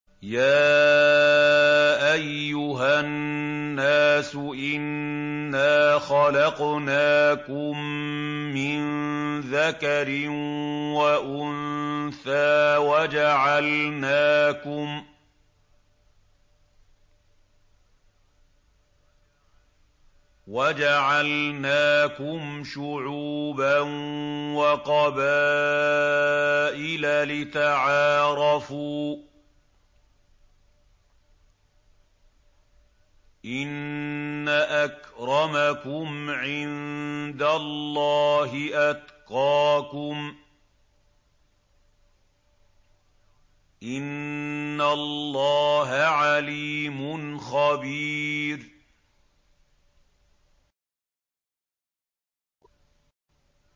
يَا أَيُّهَا النَّاسُ إِنَّا خَلَقْنَاكُم مِّن ذَكَرٍ وَأُنثَىٰ وَجَعَلْنَاكُمْ شُعُوبًا وَقَبَائِلَ لِتَعَارَفُوا ۚ إِنَّ أَكْرَمَكُمْ عِندَ اللَّهِ أَتْقَاكُمْ ۚ إِنَّ اللَّهَ عَلِيمٌ خَبِيرٌ